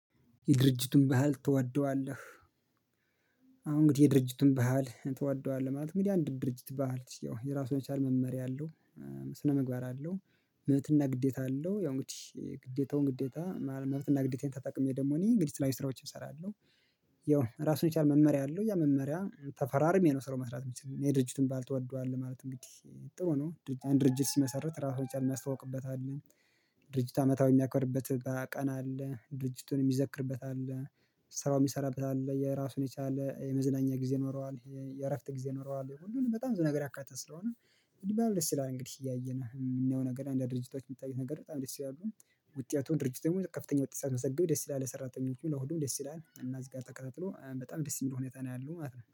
የድርጅቱን ባህል ትወደዋለህ? አሁን እንግዲህ የድርጅቱን ባህል ትወደዋለህ ማለት እንግዲህ አንድ ድርጅት ባህል ያው የራሱን የቻለ መመሪያ አለው ስነምግባር አለው። መብትና ግዴታ አለው ያው እንግዲህ ግዴታውን ግዴታ መብትና ግዴታዬን ተጠቅሜ ደግሞ እኔ እንግዲህ የተለያዩ ስራዎችን እሰራለሁ። ያው ራሱን የቻለ መመሪያ አለው ያ መመሪያ ተፈራርሜ ነው ስራውን መስራት የምችለው እኔ የድርጅቱን ትወደዋለህ ማለት እንግዲህ ጥሩ ነው። አንድ ድርጅት ሲመሰረት ራሱን የቻለ ሚያስተዋውቅበት አለ። ድርጅት አመታዊ የሚያክርበት ቀን አለ ድርጅቱን የሚዘክርበት አለ። ሰራው የሚሰራበት አለ የራሱን የቻለ የመዝናኛ ጊዜ ይኖረዋል የእረፍት ጊዜ ይኖረዋል ሁሉንም በጣም ብዙ ነገር ያካተተ ስለሆነ። ደስ ይላል እንግዲህ እያየን የምናየው ነገር አንዳንድ ድርጅቶች የምታዩት ነገር በጣም ደስ ይላሉ። ውጤቱን ድርጅት ደግሞ ከፍተኛ ወጤት ሲያስመዘግብ ደስ ይላል የሰራተኞቹ ለሁሉም ደስ ይላል እና እዚህ ጋር ተከታትሎ በጣም ደስ የሚል ሁኔታ ነው ያለው ማለት ነው